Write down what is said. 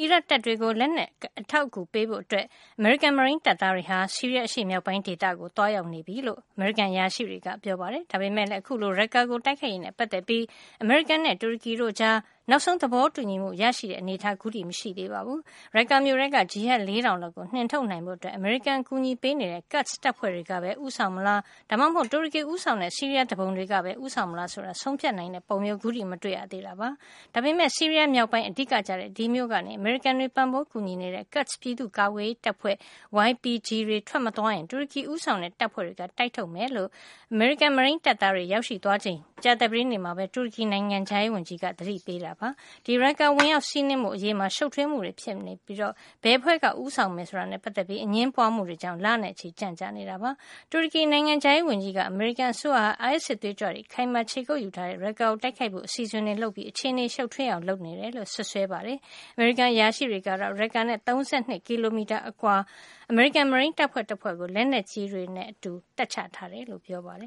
အီရတ်တပ်တွေကို လက်နက် အထောက်အကူ ပေးဖို့ အတွက် အမေရိကန် မရိန်းတပ်သားတွေဟာ ဆီးရီးယား အရှေ့မြောက်ပိုင်း ဒေသကိုရောက်သွားပြီလို့ အမေရိကန် အရာရှိတွေက ပြောပါတယ်။ ဒါပေမယ့်လည်း အခုလို Raqqa ကို တိုက်ခိုက်ရေးနဲ့ ပတ်သက်ပြီး အမေရိကန်နဲ့ တူရကီတို့ကြား နောက်ဆုံး သဘောတူညီမှု ရရှိတဲ့ အနေထား အခုထိ မတွေ့ရသေးပါဘူး။ Raqqa မြို့ထဲက ဂျီဟတ် ၄ ထောင်လောက်ကို နှင်ထုတ်နိုင်ဖို့ အမေရိကန်အကူညီပေးတဲ့ Kurd တပ်ဖွဲ့တွေ ကပဲ ဦးဆောင်မလား ဒါမှမဟုတ် တူရကီဦးဆောင်တဲ့ ဆီးရီးယား သူပုန်တွေကပဲ ဦးဆောင်မလား ဆိုတာ ဆုံးဖြတ်နိုင်တဲ့ပုံမျိုး ခုထိ မတွေ့ရသေး တာပါ။ ဒါပေမယ့် ဆီးရီးယား မြောက်ပိုင်းက အဓိကကျတဲ့ ဒီမြို့ကနေ အမေရိကန်တွေ ပံ့ပိုးကူညီနေတဲ့ Kurd ပြည်သူ့ကာကွယ်ရေး တပ်ဖွဲ့ YPG တွေ ထွက်မသွားရင် တူရကီဦးဆောင်တဲ့ တပ်ဖွဲ့တွေက တိုက်ထုတ်မှာ ဖြစ်ကြောင်း အမေရိကန် မရိန်းတပ်သားတွေ ရောက်ရှိသွားချိန် ကြာသပတေးနေ့မှာ တူရကီ နိုင်ငံခြားရေးဝန်ကြီးက သတိပေးခဲ့ပါတယ်။ ဒီ Raqqa ကို ဝင်ရောက်စီးနင်းဖို့ အရေးမှာ ရှုပ်ထွေးမှုတွေ ဖြစ်နေဘယ်အဖွဲ့က ဦးဆောင်မယ် ဆိုတာနဲ့ ပတ်သက်ပြီး အငြင်းပွါးမှုတွေကြောင့် လနဲ့ချီကြန့်ကြာနေတာ ဖြစ်ပါတယ်။ တူရကီ နိုင်ငံခြားရေးဝန်ကြီး Mevlut Cavusoglu က အမေရိကန်အစိုးရဟာ အိုင်အက်စ် စစ်သွေးကြွတွေ အခိုင်အမာ ခြေကုပ်ယူထားတဲ့ Raqqa မြို့ကို တိုက်ခိုက်ဖို့ အစီအစဉ်တွေ လုပ်ပြီး အခြေနေကို ရှုပ်ထွေးအောင် လုပ်နေတယ်လို့ စွပ်စွဲခဲ့ပါတယ်။ အမေရိကန် အရာရှိတွေကတော့ Raqqa မြို့နဲ့ ၃၂ ကီလိုမီတာ အကွာလောက်မှာ အမေရိကန် မရိန်းတပ်ဖွဲ့တဖွဲ့ကို လက်နက်ကြီးတွေနဲ့အတူ တပ်ချထားတယ်လို့ ပြောပါတယ